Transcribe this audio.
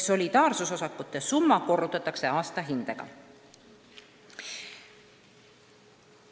Solidaarsusosakute summa korrutatakse aastahindega.